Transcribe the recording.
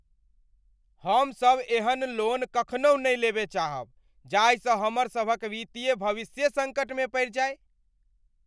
हम सभ एहन लोन नहि कखनहुँ नहि लेबय चाहब जाहिसँ हमर सभक वित्तीय भविष्ये सङ्कटमे पड़ि जाय।